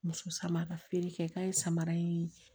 Muso sama ka feere kɛ k'a ye samara ye